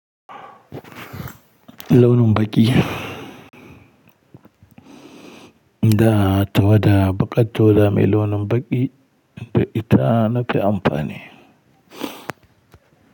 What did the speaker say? Launin baƙi. Da tawada baƙa tawada mai launin baƙi be ita na fi amfani.